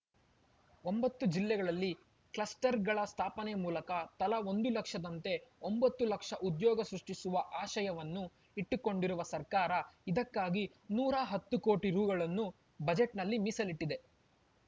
ಒಂಬತ್ತು ಜಿಲ್ಲೆಗಳಲ್ಲಿ ಕ್ಲಸ್ಟರ್‌ಗಳ ಸ್ಥಾಪನೆ ಮೂಲಕ ತಲಾ ಒಂದು ಲಕ್ಷದಂತೆ ಒಂಬತ್ತು ಲಕ್ಷ ಉದ್ಯೋಗ ಸೃಷ್ಟಿಸುವ ಆಶಯವನ್ನು ಇಟ್ಟುಕೊಂಡಿರುವ ಸರ್ಕಾರ ಇದಕ್ಕಾಗಿ ನೂರ ಹತ್ತು ಕೋಟಿ ರೂ ಗಳನ್ನು ಬಜೆಟ್‌ನಲ್ಲಿ ಮೀಸಲಿಟ್ಟಿದೆ